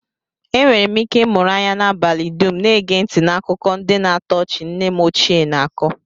Enwere m ike ịmụrụ anya n'abalị dum, na-ege ntị n'akụkọ ndị na-atọ ọchị nne m ochie na-ako